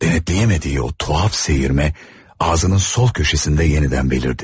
Denetləyə bilmədiyi o tuhaf seyirmə ağzının sol köşəsində yenidən belirdi.